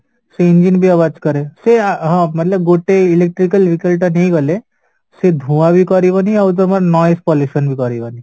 ସେ engine ବି କରେ ସେ ହଁ ଗୋଟେ electrical vehicle ଟା ନେଇଗଲେ ସେ ଧୁଆ ବି କରିବନି ଆଉ ଜମା noise pollution ବି କରିବନି